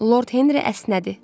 Lord Henri əsnədi.